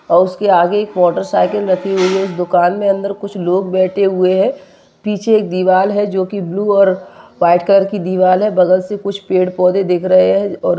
House के आगे एक मोटरसाइकिल रखी हुई है दुकान में अंदर कुछ लोग बैठे हुए है पीछे दीवार है जो की बालू और वाइट कलर की दीवार है बगल से कुछ पेड़ पौधे देख रहे है। और--